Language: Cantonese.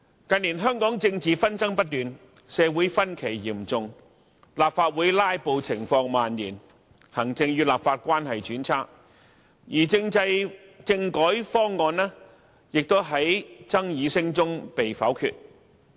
近年香港政治紛爭不斷，社會分歧嚴重，立法會"拉布"情況蔓延，行政與立法關係轉差，而政制、政改方案亦在爭議聲中被否決。